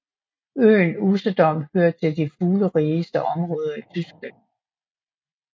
Øen Usedom hører til de fuglerigeste områder i Tyskland